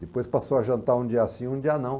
Depois passou a jantar um dia sim, um dia não.